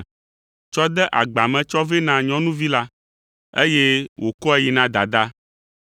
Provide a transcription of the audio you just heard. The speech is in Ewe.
tsɔ de agba me tsɔ vɛ na nyɔnuvi la, eye wòkɔe yi na dadaa.